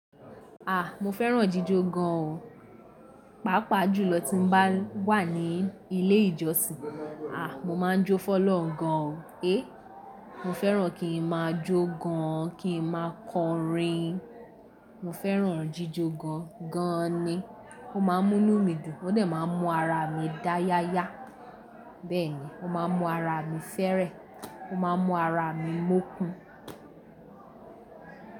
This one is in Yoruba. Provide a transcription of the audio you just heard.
À, mo fẹ́ràn jíjọ gan o. Paapaa jùlọ tí mo bá wà ní ilé ìjọsìn. À, mo máa ń jó fọ́lọ̀un gan o. E! Mo fẹ́ràn kí n máa jó gan an, kí n máa kọrin. Mo fẹ́ràn jíjọ gan gan an ni. Ó máa ń mú nu mí dùn, ó dè máa ń mú ara mi dáyáyá. Bẹ́ẹ̀ ni, ó máa ń mú ara mi fẹ́rẹ́, ó máa ń mú ara mi mókùn.